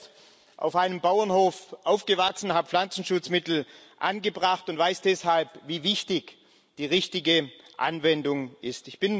Ich bin selbst auf einem Bauernhof aufgewachsen, habe Pflanzenschutzmittel angebracht und weiß deshalb, wie wichtig die richtige Anwendung ist.